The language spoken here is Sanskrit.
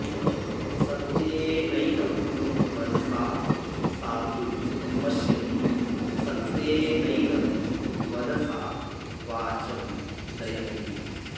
सत्येनैनं मनसा साधु पश्यति सत्येनैनं मनसा वाचं नयति